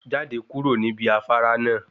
Jáde kúrò níbi afárá náà.